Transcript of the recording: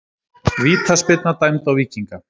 Vítaspyrna dæmd á Víkinga